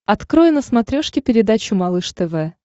открой на смотрешке передачу малыш тв